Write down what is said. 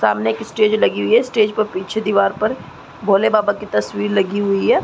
सामने एक स्टेज लगी हुई है स्टेज पर पीछे दिवार पर भोले बाबा की तस्वीर लगी हुई है।